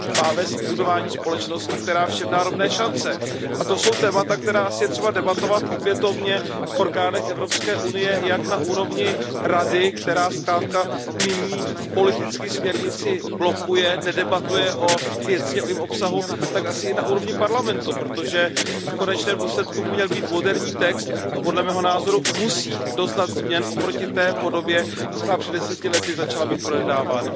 Má vést k budování společnosti, která všem dá rovné šance, a to jsou témata, která je třeba debatovat opětovně v orgánech Evropské unie jak na úrovni Rady, která zkrátka nyní politicky směrnici blokuje, nedebatuje věcně o jejím obsahu, tak asi i na úrovni Parlamentu, protože v konečném důsledku by to měl být moderní text, a podle mého názoru musí doznat změn oproti té podobě, která před 10 lety začala být projednávána.